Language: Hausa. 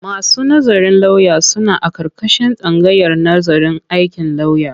Masu nazarin lauya sun aƙarƙashin tsangayar nazarin aikin lauya.